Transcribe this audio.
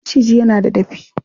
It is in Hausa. Maciji yana da dafi.